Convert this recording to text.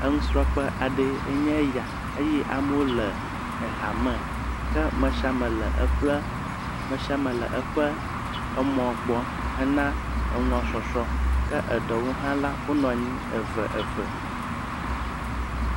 Enusrɔ̃ƒe aɖe ye nye ya eye ame le ha me ke me sia me le eƒe, me sia me le eƒe emɔ gbɔ hena eŋua sɔsrɔ̃, eɖewo hã la wonɔ̃anyi eve eve.